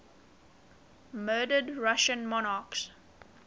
murdered russian monarchs